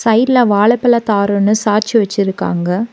சைட்ல வாழப்பழ தாரொன்னு சாய்ச்சு வச்சிருக்காங்க.